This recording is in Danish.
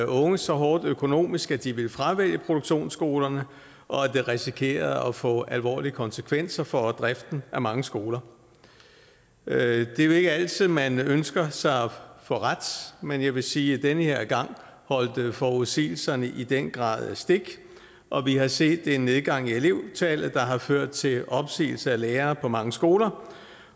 unge så hårdt økonomisk at de ville fravælge produktionsskolerne og at det risikerede at få alvorlige konsekvenser for driften af mange skoler det er jo ikke altid man ønsker sig at få ret men jeg vil sige at den her gang holdt forudsigelserne i den grad stik og vi har set en nedgang i elevtallet der har ført til opsigelse af lærere på mange skoler